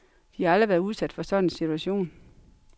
De har aldrig været udsat for en sådan situation.